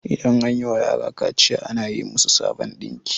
idan an yiwa yara kaciya ana yi musu sabon dinki